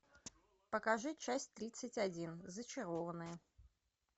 покажи часть тридцать один зачарованные